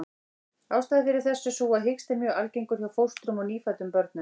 Ástæðan fyrir þessu er sú að hiksti er mjög algengur hjá fóstrum og nýfæddum börnum.